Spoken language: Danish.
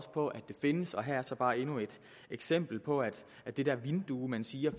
på at det findes og her er så bare endnu et eksempel på at det der vindue man siger